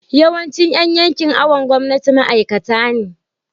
yawancin Yan yankin awon gomnati ma'aikata ne